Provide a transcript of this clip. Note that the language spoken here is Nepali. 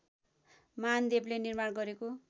मानदेवले निर्माण गरेको